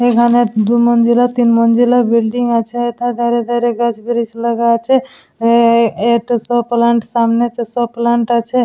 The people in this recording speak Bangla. এখানে দু মঞ্জিলার তিন মঞ্জিলার বিল্ডিং আছে । গাছ ব্রিচ লাগানো আছে । সব প্লান্ট সামনে সব প্লান্ট আছে ।